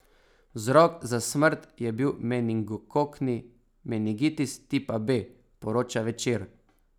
Vzrok za smrt je bil meningokokni meningitis tipa B, poroča Večer.